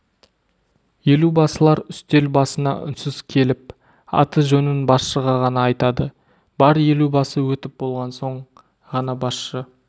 елубасылар үстел басына үнсіз келіп аты-жөнін басшыға ғана айтады бар елубасы өтіп болған соң ғана басшы